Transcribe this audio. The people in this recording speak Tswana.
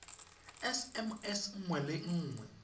sms nngwe le nngwe e